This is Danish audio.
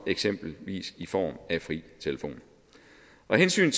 eksempelvis i form af fri telefon og af hensyn